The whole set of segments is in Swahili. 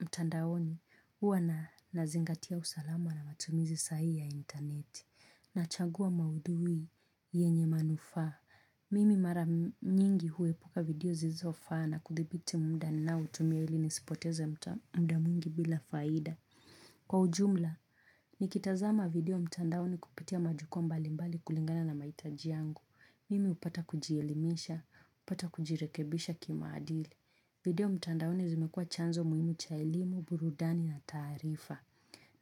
mtandaoni huwa na nazingatia usalama na matumizi sahii ya internet. Nachagua maudhui yenye manufaa. Mimi mara nyingi huepuka video zisizo faa na kuthibiti muda ninao tumia ili nisipoteze muda mwingi bila faida. Kwa ujumla, nikitazama video mtandaoni kupitia majukwa mbali mbali kulingana na mahitaji yangu. Mimi hupata kujielimisha, hupata kujirekebisha kimaadili. Video mtandaoni zimekuwa chanzo muhimu cha elimu, burudani na taarifa.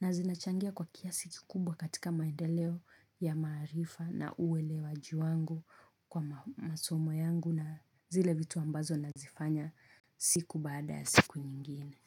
Na zinachangia kwa kiasi kikubwa katika maendeleo ya maarifa na uwelewaji wangu kwa masomo yangu na zile vitu ambazo nazifanya siku baada ya siku nyingine.